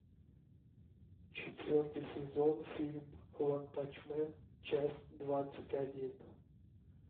четвертый сезон фильм ванпанчмен часть двадцать один